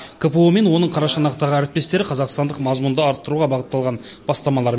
кпо мен оның қарашығанақтағы әріптестері қазақстандық мазмұнды арттыруға бағытталған бастамалар